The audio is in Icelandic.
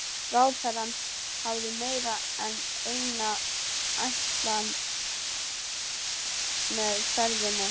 Ráðherrann hafði meira en eina ætlan með ferðinni.